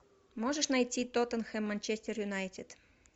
можешь найти тоттенхэм манчестер юнайтед